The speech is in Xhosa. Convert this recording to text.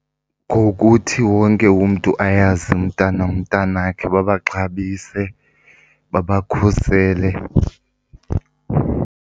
Ngokuthi wonke umntu ayazi nomntanakhe babaxhabise, babakhusele.